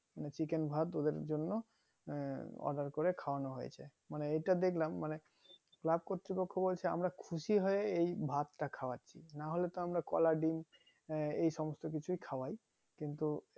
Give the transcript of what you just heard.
মানে chicken ভাত ওদের জন্য আহ order করে খাওয়ানো হয়েছে মানে এইটা দেখলাম মানে club কতৃপক্ষ বলছে আমরা খুশি হয়ে এই ভাত তা খাওয়াচ্ছি নাহোলে তো আমরা কলা ডিম্ আহ এই সমস্ত কিছু খাওয়াই কিন্তু